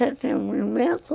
entretenimento?